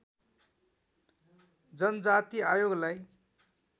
जनजाति आयोगलाई